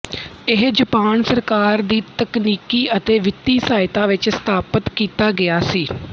ਇਹ ਜਾਪਾਨ ਸਰਕਾਰ ਦੀ ਤਕਨੀਕੀ ਅਤੇ ਵਿੱਤੀ ਸਹਾਇਤਾ ਵਿੱਚ ਸਥਾਪਤ ਕੀਤਾ ਗਿਆ ਸੀ